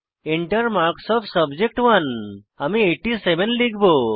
Enter marks of subject one আমি 87 লিখব